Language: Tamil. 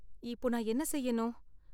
இப்போ நான் என்ன செய்யணும்?